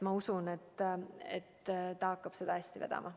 Ma usun, et ta hakkab seda hästi vedama.